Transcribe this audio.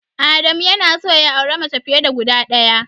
Adamu yana son ya auri mace fiye da guda ɗaya.